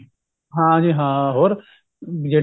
ਹਾਂ ਜੀ ਹਾਂ ਹੋਰ ਜਿਹੜਾ